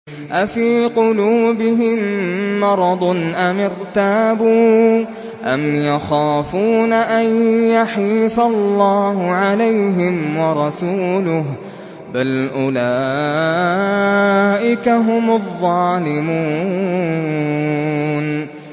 أَفِي قُلُوبِهِم مَّرَضٌ أَمِ ارْتَابُوا أَمْ يَخَافُونَ أَن يَحِيفَ اللَّهُ عَلَيْهِمْ وَرَسُولُهُ ۚ بَلْ أُولَٰئِكَ هُمُ الظَّالِمُونَ